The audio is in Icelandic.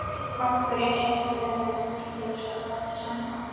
Hinn framliðni á ólokið erindi við hann!